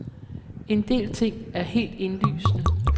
En del ting er helt indlysende.